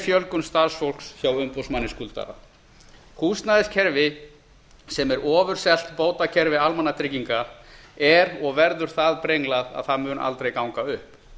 fjölgun starfsfólks hjá umboðsmanni skuldara húsnæðiskerfi sem er ofurselt bótakerfi almannatrygginga er og verður það brenglað að það mun aldrei ganga upp